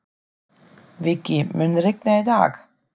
Viggi, mun rigna í dag?